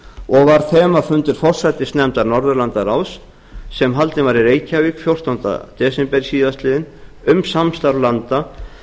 og var þemafundur forsætisnefndar norðurlandaráðs sem haldinn var í reykjavík fjórtánda desember síðastliðnum um samstarf landa